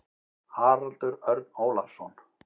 Haraldur Örn Ólafsson.